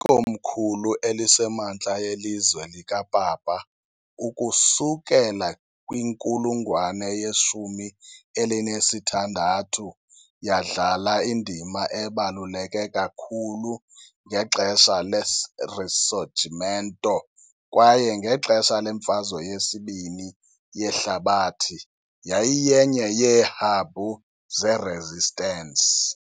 Ikomkhulu eliseMantla yeLizwe likaPapa ukusukela kwinkulungwane yeshumi elinesithandathu , yadlala indima ebaluleke kakhulu ngexesha leRisorgimento kwaye, ngexesha leMfazwe yesibini yeHlabathi, yayiyenye yeehabhu zeResistance .